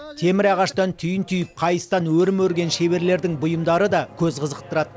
темір ағаштан түйін түйіп қайыстан өрім өрген шеберлердің бұйымдары да көз қызықтырады